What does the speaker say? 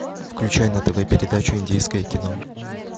включай на тв передачу индийское кино